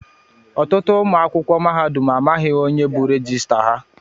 Ọtụtụ ụmụ akwụkwọ mahadum amaghị onye bu rejistra ha.